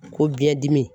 Ko biɲɛ dimi